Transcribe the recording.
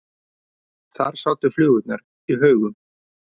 Þar sátu flugurnar í haugum.